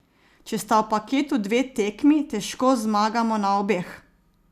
Če sta v paketu dve tekmi, težko zmagamo na obeh.